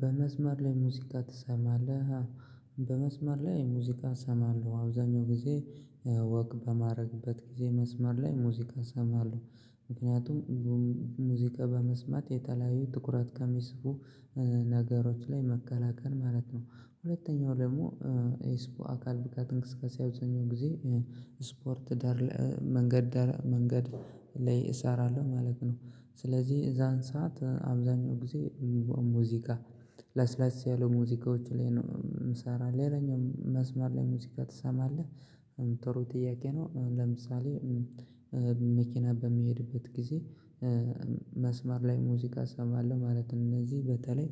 በመስመር ላይ ሙዚቃ ትሰማለህ? በመስመር ላይ ሙዚቃ እሰማለሁ አብዛኛው ጊዜ። ወክ በማድረግበት ጊዜ መስመር ላይ ሙዚቃ እሰማለሁ ምክንያቱም ይሁን ሙዚቃ በመስማት የተለያዩ ትኩረት ከሚስቡ ነገሮች ላይ መከላከል ማለት ነው። ሁለተኛው ደግሞ ኤስፖ አካል ብቃት እንቅስቃሴ አብዘኛው ጊዜ። ስፖርት ደር መንገድ መንገድ ላይ እሰራለሁ ማለት ነው። ስለዚህ የዛን ሰዓት አብዛኛው ጊዜ ሙዚቃ ለስለስ ያለው ሙዚቃዎች ላይ ነው የምሰራው። ሌላኛው መስመር ላይ ሙዚቃ ትሰማለህ? ጥሩ ጥያቄ ነው። ለምሳሌ መኪና በሚሄድበት ጊዜ መስመር ላይ ሙዚቃ እሰማለሁ ማለት ነው። እነዚህ በተለይ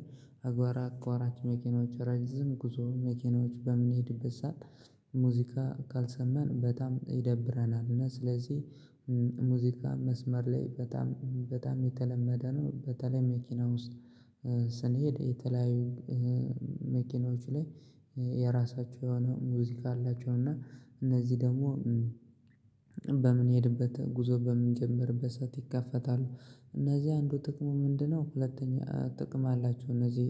አገር አቋራጭ መኪናዎች ረጅም ጉዞ መኪናዎች በምንሄድበት ሰዓት ሙዚቃ ካልሰማን በጣም ይደብረናል። እና ስለዚህ ሙዚቃ መስመር ላይ በጣም በጣም የተለመደ ነው። በተለይ መኪና ውስጥ ስንሄድ የተለያዩ መኪኖች ላይ የራሳቸው የሆነ ሙዚቃ አላቸው። እና እነዚህ ደግሞ በምንሄድበት ጉዞ በምንጀምርበት ሰዓት ይከፈታል። እነዚህ አንዱ ጥቅሙ ምንድነው? ሁለተኛ ጥቅም አላቸው እነዚህ።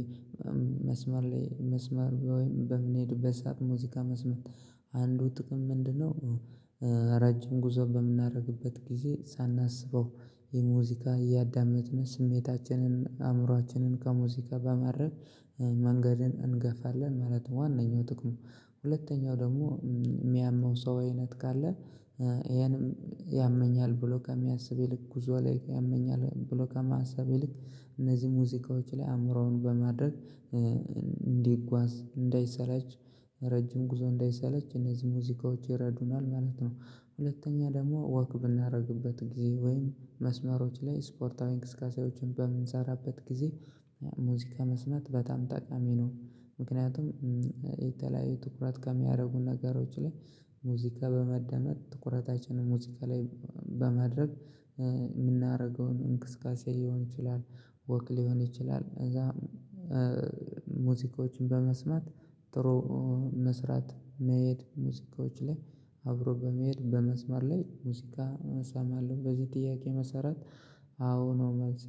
መስመር ላይ መስመር ወይም በምንሄድበት ሰዓት ሙዚቃ መስማት አንዱ ጥቅም ምንድነው? ረጅም ጉዞ በምናደርግበት ጊዜ ሳናስበው የሙዚቃ እያዳመጥን ስሜታችንን አእምሮአችንን ከሙዚቃ በማድረግ መንገድን እንገፋለን ማለት ዋነኛው ጥቅሙ። ሁለተኛው ደግሞ የሚያመው ሰው አይነት ካለ ይሄንም ያመኛል ብሎ ከሚያስብ ይልቅ ጉዞ ላይ ያመኛል ብሎ ከማሰብ ይልቅ እነዚህ ሙዚቃዎች ላይ አእምሮውን በማድረግ እንዲጓዝ እንዳይሰለች ረጅም ጉዞ እንዳይሰለች እነዚህ ሙዚቃዎች ይረዱናል ማለት ነው። ሁለተኛ ደግሞ ወክ ብናደርግበት ጊዜ ወይም መስመሮች ላይ ስፖርታዊ እንቅስቃሴዎችን በምንሰራበት ጊዜ ሙዚቃ መስማት በጣም ጠቃሚ ነው። ምክንያቱም የተለያየ ትኩረት ከሚያደርጉን ነገሮች ላይ ሙዚቃ በማዳመጥ ትኩረታችንን ሙዚቃ ላይ በማድረግ የምናደርገውን እንቅስቃሴ ሊሆን ይችላል። ወክ ሊሆን ይችላል እዛ ሙዚቆችን በመስማት ጥሩ መስራት መሄድ ሙዚቃዎች ላይ አብሮ በመሄድ በመስመር ላይ ሙዚቃ እሰማለሁ በዚህ ጥያቄ መሰረት አዎ ነው መልሴ።